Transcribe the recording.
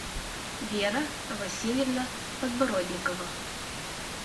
вера васильевна подбородникова